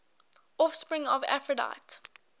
offspring of aphrodite